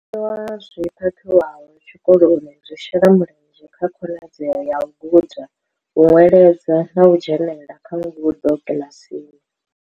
Zwiḽiwa zwi phakhiwaho tshikoloni zwi shela mulenzhe kha khonadzeo ya u guda, u ṅweledza na u dzhenela kha ngudo kiḽasini.